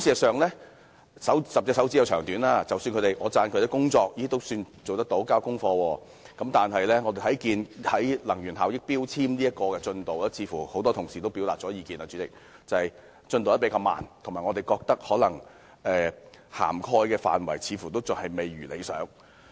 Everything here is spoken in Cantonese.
常言道，"十隻手指有長短"，儘管我稱讚局方的工作做得尚算良好，有交功課，但在實施強制性能源效益標籤計劃方面，正如很多同事所說，則似乎進度較為緩慢，涵蓋範圍未如理想。